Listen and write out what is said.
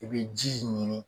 I bi ji ɲini.